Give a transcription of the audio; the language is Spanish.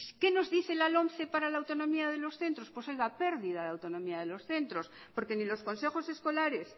qué nos dice la lomce para la autonomía de los centros pues oiga pérdida de autonomía de los centros porque ni los consejos escolares